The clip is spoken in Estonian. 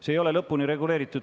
See ei ole lõpuni reguleeritud.